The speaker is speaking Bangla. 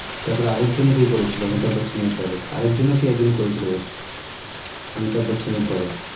তার পরে আরেকজন কে করেছিল অমিতাভ বচ্চনের পরে আরেকজন কে যেন করেছিল বেশ অমিতাভ বচ্চনের পরে